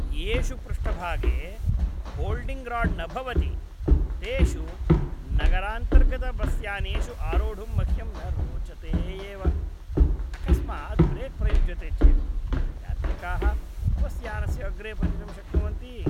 येषु पृष्ठभागे holding rod न भवति तेषु नगरान्तर्गतबस्यानेषु आरोढुं मह्यं न रोचते एव, अकस्मात् ब्रेक् प्रयुज्यते चेत् यात्रिकाः बस्यानस्य अग्रे पतितुं शक्नुवन्ति।